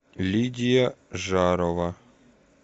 лидия жарова